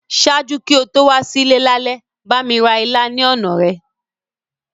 Ṣaaju ki o to wa si ile lálẹ́, bámi ra ilá ni ọna rẹ.